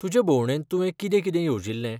तुजे भोवंडेंत तुवें कितें कितें येवजिल्लें ?